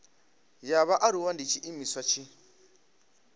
ya vhaaluwa ndi tshiimiswa tshi